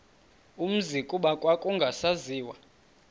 umzi kuba kwakungasaziwa